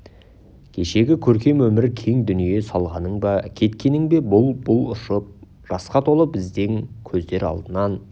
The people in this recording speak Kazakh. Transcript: кешегі көркем өмір кең дүние солғаның ба кеткенің бе бұл-бұл ұшып жасқа толы біздің көздер алдынан